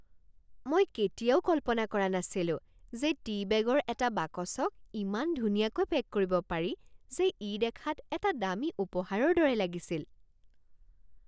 মই কেতিয়াও কল্পনা কৰা নাছিলো যে টী বেগৰ এটা বাকচক ইমান ধুনীয়াকৈ পেক কৰিব পাৰি যে ই দেখাত এটা দামী উপহাৰৰ দৰে লাগিছিল।